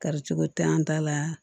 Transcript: Karicogo tɛ an ta la